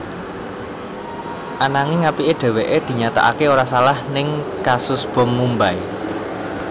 Ananging apiké dheweké dinyatakaké ora salah ning kasus bom Mumbai